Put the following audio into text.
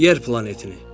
Yer planetini.